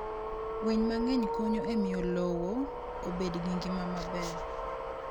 Winy mang'eny konyo e miyo lowo obed gi ngima maber.